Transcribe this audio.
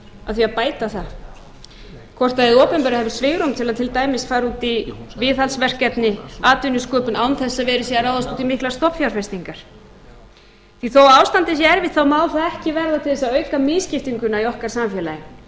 að því að bæta það hvort hið opinbera hafi svigrúm til dæmis til að fara út í viðhaldsverkefni atvinnusköpun án þess að vera hér að ráðast í miklar stofnfjárfestingar því þó ástandið sé erfitt má það ekki verða til þess að auka misskiptinguna í okkar samfélagi